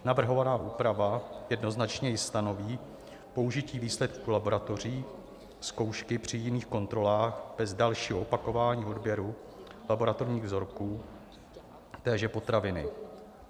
Navrhovaná úprava jednoznačně i stanoví použití výsledku laboratorní zkoušky při jiných kontrolách bez dalšího opakování odběru laboratorních vzorků téže potraviny.